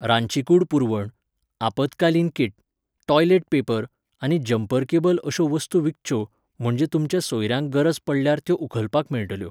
रांदचीकूड पुरवण, आपत्कालीन किट, टॉयलेट पेपर, आनी जंपर केबल अशो वस्तू विकच्यो, म्हणजे तुमच्या सोयऱ्यांक गरज पडल्यार त्यो उखलपाक मेळटल्यो.